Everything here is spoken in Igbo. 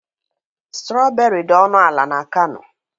Strọberị dị ọnụ ala n'Kano.